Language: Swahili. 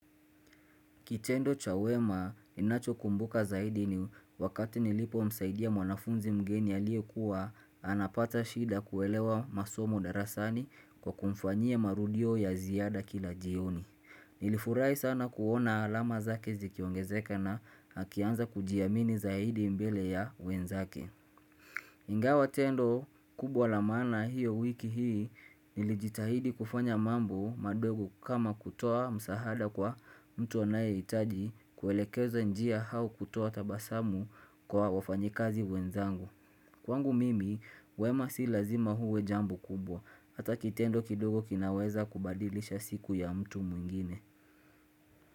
Kitendo cha wema, ninacho kumbuka zaidi ni wakati nilipomsaidia mwanafunzi mgeni aliyekuwa, anapata shida kuelewa masomo darasani kwa kumfanyia marudio ya ziada kila jioni. Nilifurahi sana kuona alama zake zikiongezeka na akianza kujiamini zaidi mbele ya wenzake. Ingawa tendo kubwa la maana hiyo wiki hii Nilijitahidi kufanya mambo madogo kama kutoa msahada kwa mtu anayehitaji kuelekezwa njia au kutoa tabasamu kwa wafanyikazi wenzangu. Kwangu mimi, wema si lazima uwe jambo kubwa. Hata kitendo kidogo kinaweza kubadilisha siku ya mtu mwingine.